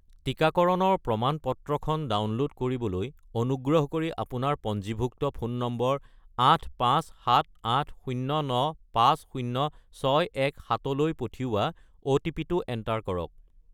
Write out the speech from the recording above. টিকাকৰণৰ প্ৰমাণ-পত্ৰখন ডাউনলোড কৰিবলৈ অনুগ্ৰহ কৰি আপোনাৰ পঞ্জীভুক্ত ফোন নম্বৰ 85780950617 -লৈ পঠিওৱা অ'টিপি-টো এণ্টাৰ কৰক।